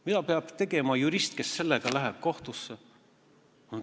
Mida peab tegema jurist, kes läheb sellega kohtusse?